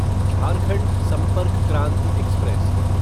Jharkhand Sampark Kranti express